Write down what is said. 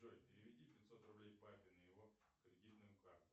джой переведи пятьсот рублей папе на его кредитную карту